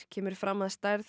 kemur fram að stærð